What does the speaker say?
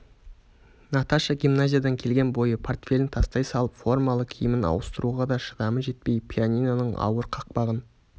наташа гимназиядан келген бойы портфелін тастай салып формалы киімін ауыстыруға да шыдамы жетпей пианиноның ауыр қақпағын